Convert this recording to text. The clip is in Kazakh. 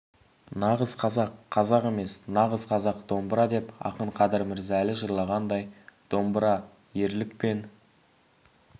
нағыз қазақ қазақ емес нағыз қазақ домбыра деп ақын қадыр мырза әлі жырлағандай домбыра ерлік пен